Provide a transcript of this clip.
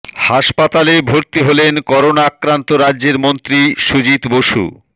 হাসপাতালে ভর্তি হলেন করোনা আক্রান্ত রাজ্যের মন্ত্রী সুজিত বসু